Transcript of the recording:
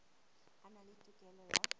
a na le tokelo ya